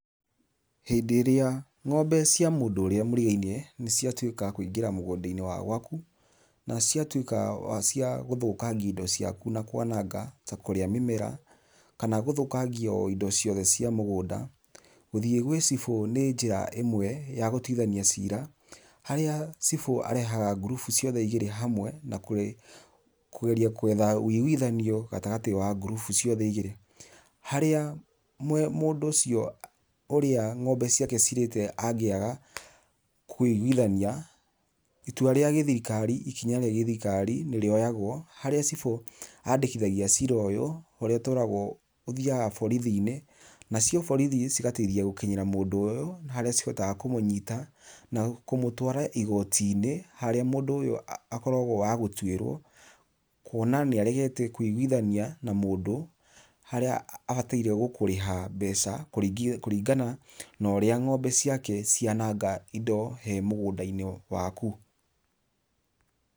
Hĩndĩ ĩrĩa ngombe cia mũndũ ũrĩa mũrigainie ciatwĩka cia kũingĩra mũgũnda -inĩ waku , na ciatwĩka cia gũthũkagia indo ciaku na kwanaga, na kũrĩa mĩmera , kana gũthũkagio indo ciothe cia mũgũnda, gũthiĩ gwĩ cibũ nĩ njĩra ĩmwe ya gũtwithania cira, harĩa cibũ arehaga ngurubu ciothe hamwe, na kũgeria gwetha wĩgwithanio gatagatĩ wa ngurubu ciothe igĩrĩ, harĩa mũndũ ũcio ngombe ciake angĩaga kũigwithania, itua rĩa githirikari, nĩ rĩ oyagwo harĩa cibũ oyaga cira ũyũ ũrĩa ũtwaragwo borithi-inĩ, nacio borithi cigateithia mũndũ ũyũ, harĩa cihotaga kũmũnyita na kũmũtwara igoti-inĩ harĩa mũndũ ũyũ akoragwo wa gũtwĩrwo kuona nĩ arehete kwĩgwithania na mũndũ harĩa abatairie nĩ gũkũrĩha mbeca kũringana na ũrĩa ngombe ciake cia nanga indo he mũgũnda-inĩ waku.